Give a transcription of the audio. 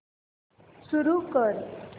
सुरू कर